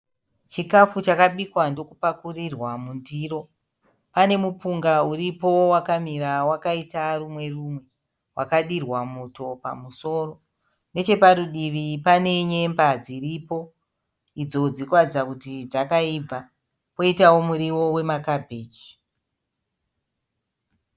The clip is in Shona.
Chikafu chakabikwa ndokupakukurirwa mundiro. Pane mupunga uripo wakamira wakaita rumwe rumwe, wakadirwa muto pamusoro. Nechepadivi pane nyemba dziripo, idzo dziri kuratidza kuti dzakaibva, kwoitawo muriwo wemakabichi.